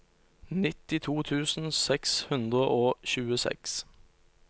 nittito tusen seks hundre og tjueseks